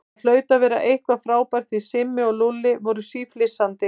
Það hlaut að vera eitthvað frábært því að Simmi og Lúlli voru síflissandi.